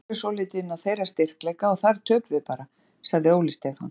Leikurinn fer svolítið inn á þeirra styrkleika og þar töpum við bara, sagði Óli Stefán.